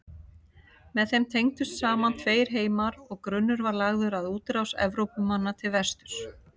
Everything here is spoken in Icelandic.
Með þeim tengdust saman tveir heimar og grunnur var lagður að útrás Evrópumanna til vesturs.